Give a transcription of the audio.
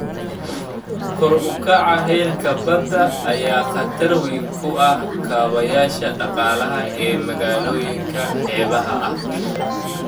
Kor u kaca heerka badda ayaa khatar weyn ku ah kaabayaasha dhaqaalaha ee magaalooyinka xeebaha ah.